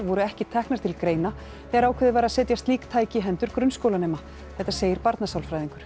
voru ekki teknar til greina þegar ákveðið var að setja slík tæki í hendur grunnskólanema þetta segir barnasálfræðingur